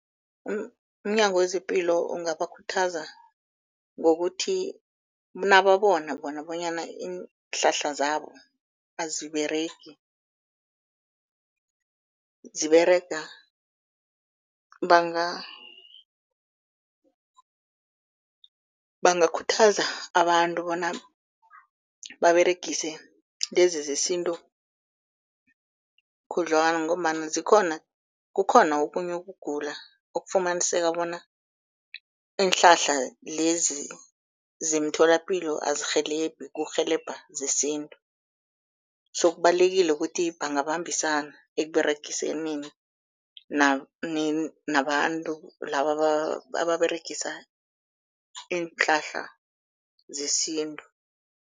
Umnyango wezePilo ungabakhuthaza ngokuthi nababona bona bonyana iinhlahla zabo aziberegi, ziberega bangakhuthaza abantu bona baberegise lezi zesintu khudlwana. Ngombana zikhona, kukhona okhunye ukugula okufumaniseka bona iinhlahla lezi zemtholapilo azirhelebhi kurhelebha zesintu. So kubalulekile ukuthi bangabambisana ekUberegisaneni nabantu laba ababeregisa iinhlahla zesintu.